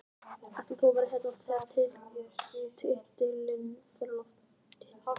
Og ætlar þú að vera hérna þegar titilinn fer á loft?